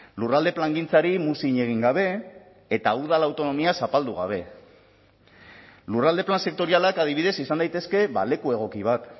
lurralde plangintzari muzin egin gabe eta udal autonomia zapaldu gabe lurralde plan sektorialak adibidez izan daitezke leku egoki bat